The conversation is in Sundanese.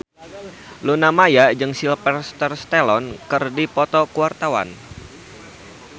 Luna Maya jeung Sylvester Stallone keur dipoto ku wartawan